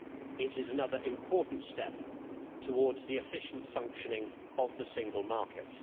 It is another important step towards the efficient functioning of the single market.